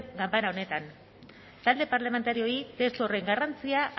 ganbera honetan talde parlamentarioei testu horren garrantzia